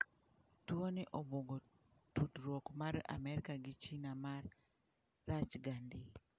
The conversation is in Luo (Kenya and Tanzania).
Tuoni obwogo tudruok mar amerka gi China ma rachga ndi.